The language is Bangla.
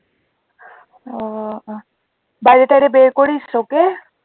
ও বাইরে টাইরে বের করিস ওকে